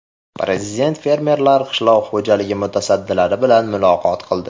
Prezident fermerlar, qishloq xo‘jaligi mutasaddilari bilan muloqot qildi.